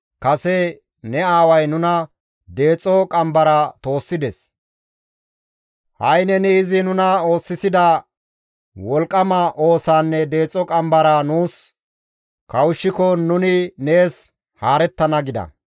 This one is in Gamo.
«Kase ne aaway nuna deexo qambara toossides; ha7i neni izi nuna oosisida wolqqama oosaanne deexo qambaraa nuus kawushshiko nuni nees haarettana» gida.